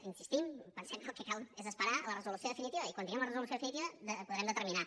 hi insistim pensem que el que cal és esperar la resolució definitiva i quan tinguem la resolució definitiva podrem determinar